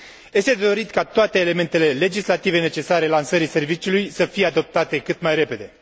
Este de dorit ca toate elementele legislative necesare lansării serviciului să fie adoptate cât mai repede.